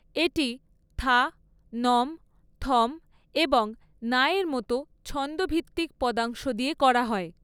এটি থা, নম, থম এবং না এর মতো ছন্দ ভিত্তিক পদাংশ দিয়ে করা হয়।